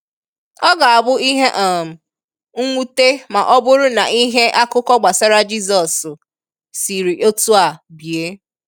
Ọ ga abu ihe um nwute ma oburu na ihe/akuko gbasara Jisos siri otu a bie.